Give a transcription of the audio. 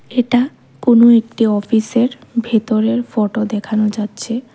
এটা কোন একটি অফিস -এর ভেতরের ফটো দেখানো যাচ্ছে।